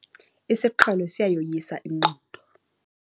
Isiqhelo siyayoyisa ingqondo.